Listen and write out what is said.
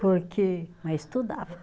Porque, mas estudava.